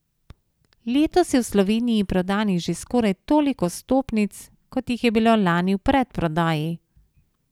Letos je v Sloveniji prodanih že skoraj toliko vstopnic, kot jih je bilo lani v predprodaji.